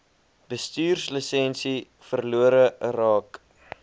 bestuurslisensie verlore raak